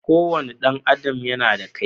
Kowane ɗan adam yana da kai.